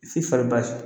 F'i fari basi